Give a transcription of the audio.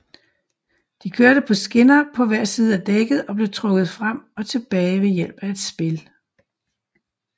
De kørte på skinner på hver side af dækket og blev trukket frem og tilbage ved hjælp af spil